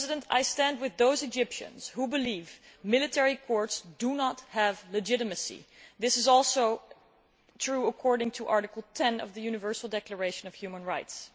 I stand with those Egyptians who believe military courts do not have legitimacy. This is also true according to Article 10 of the Universal Declaration of Human Rights.